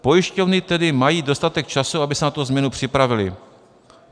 Pojišťovny tedy mají dostatek času, aby se na tu změnu připravily.